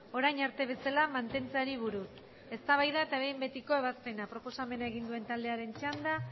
orain arte bezala mantentzeari buruz eztabaida eta behin betiko ebazpena proposamena egin duen taldearen txanda